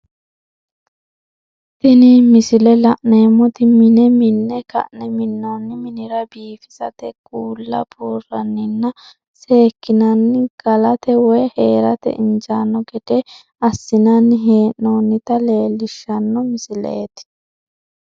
Tini misile la'neemoti mine minne ka'ne minoonni minira biifissate kuulla buuranninna sekinnanni galate woyi heerate injaano gede asinnanni hee'noonnita leelishano misileeti.